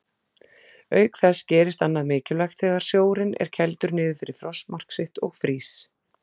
Auk þess gerist annað mikilvægt þegar sjórinn er kældur niður fyrir frostmark sitt og frýs.